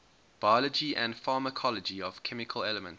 biology and pharmacology of chemical elements